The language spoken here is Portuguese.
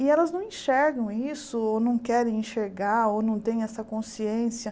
E elas não enxergam isso, ou não querem enxergar, ou não têm essa consciência.